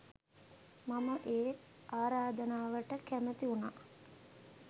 මම ඒ ආරාධනාවට කැමති වුණා.